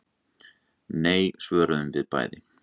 Nei, svöruðum við bæði.